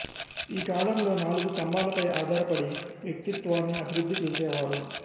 ఈ కాలంలో నాలుగు స్థంబాలపై ఆధారపడి వ్యక్తిత్వాన్ని అభివృద్ధి చేసేవారు